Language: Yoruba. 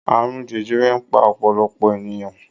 Àrùn jẹjẹrẹ ń pa ọ̀pọ̀lọpọ̀ ènìyàn.